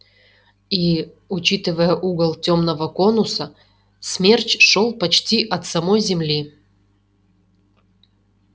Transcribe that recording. и учитывая угол тёмного конуса смерч шёл почти от самой земли